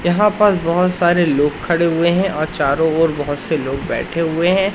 यहां पर बहोत सारे लोग खड़े हुए हैं और चारों ओर बहोत से लोग बैठे हुए हैं।